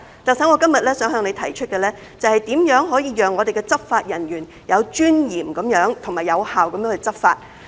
特首，我今日想向你提出的是，如何可以讓我們的執法人員有尊嚴和有效地執法。